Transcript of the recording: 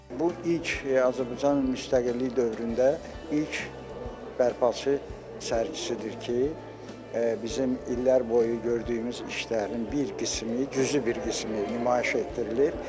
Bu ilk Azərbaycan müstəqillik dövründə ilk bərpaçı sərgisidir ki, bizim illər boyu gördüyümüz işlərin bir qismi gücü bir qismi nümayiş etdirilir.